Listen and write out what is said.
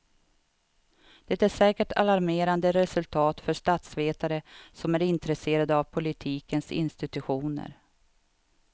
Det är säkert alarmerande resultat för statsvetare som är intresserade av politikens institutioner.